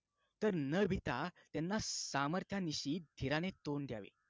तर न भिता त्यांना सामर्थ्यांनीशी धीराने तोंड द्यावे